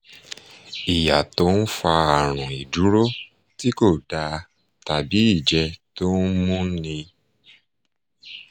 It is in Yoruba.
ìyà tó ń fa àrùn ìdúró tí kò dáa tàbí ìjẹ́ tó ń múni